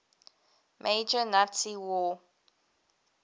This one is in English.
major nazi war